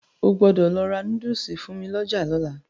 O gbọ́dọ̀ lọ ra núdùsù fún mi lọ́jà lọ́la.